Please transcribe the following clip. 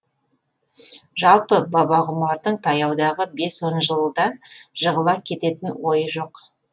жалпы бабағұмардың таяудағы бес он жылда жығыла кететін ойы жоқ